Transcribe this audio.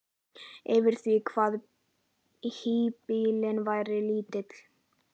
yfir því hvað híbýlin væru lítil.